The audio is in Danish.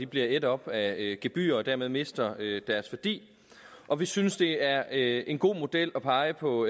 bliver ædt op af gebyrer og dermed mister deres værdi og vi synes det er en god model at pege på